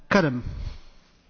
Köszönöm szépen!